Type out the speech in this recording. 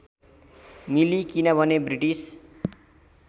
मिली किनभने ब्रिटिस